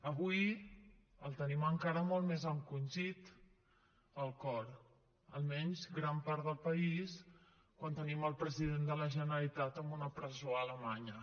avui el tenim encara molt més encongit el cor almenys gran part del país quan tenim el president de la generalitat en una presó a alemanya